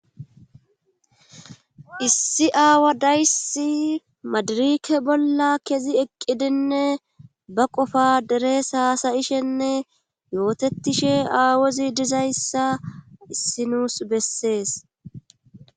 Issi aawa dayssi madirike bolla kezi eqqidinne ba qofa deres haasayishenne yootettishe aawezi dizayssa issinuus bessees